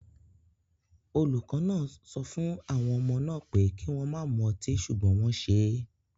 Olùkọ́ náà sọ fún àwọn ọmọ náà pé kí wọ́n má mu ọtí ṣùgbọ́n wọ́n ṣe é